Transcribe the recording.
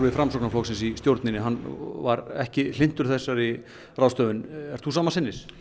Framsóknarflokksins í stjórninni var ekki hlynntur þessari ráðstöfun ertu sama sinnis